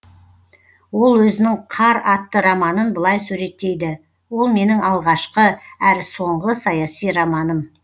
ол өзінің қар атты романын былай суреттейді ол менің алғашқы әрі соңғы саяси романым